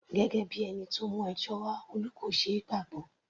Gẹ́gẹ́ bíi ẹni tó mú ẹjọ́ wá, Olú kò ṣeé gbàgbọ́.